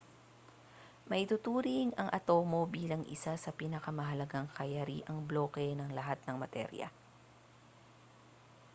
maituturing ang atomo bilang isa sa napakahahalagang kayariang bloke ng lahat ng materya